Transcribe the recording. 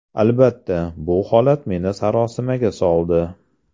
Albatta, bu holat meni sarosimaga soldi.